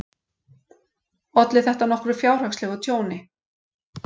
Olli þetta nokkru fjárhagslegu tjóni.